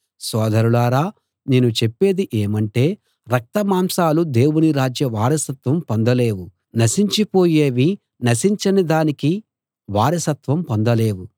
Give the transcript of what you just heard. సోదరులారా నేను చెప్పేది ఏమంటే రక్త మాంసాలు దేవుని రాజ్య వారసత్వం పొందలేవు నశించి పోయేవి నశించని దానికి వారసత్వం పొందలేవు